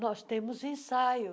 Nós temos ensaio.